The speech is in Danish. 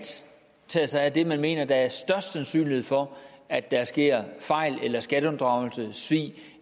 tage sig af de man mener der er størst sandsynlighed for at der sker fejl skatteunddragelse eller svig